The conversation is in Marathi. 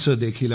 जीआरपी